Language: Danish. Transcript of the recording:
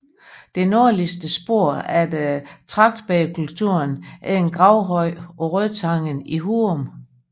Det nordligste spor efter tragtbægerkulturen er en gravhøj på Rødtangen i Hurum